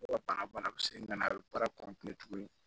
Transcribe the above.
Mɔgɔ bana bana bɛ se ka na a bɛ baara tuguni